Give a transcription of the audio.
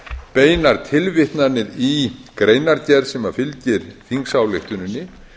beinar tilvitnanir í greinargerð sem fylgir þingsályktuninni